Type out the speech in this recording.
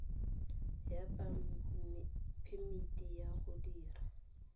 ya phemiti ya go dira